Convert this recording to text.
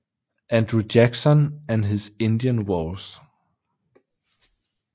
Andrew Jackson and his Indian Wars